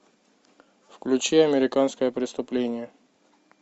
включи американское преступление